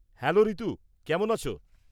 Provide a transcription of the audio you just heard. Hello Ritu, কেমন আছো?